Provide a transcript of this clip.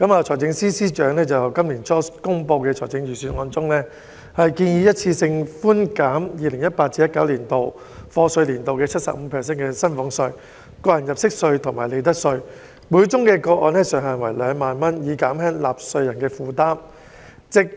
財政司司長在今年初公布的財政預算案中，建議一次性寬減 2018-2019 課稅年度 75% 薪俸稅、個人入息課稅及利得稅，每宗個案上限為2萬元，以減輕納稅人負擔。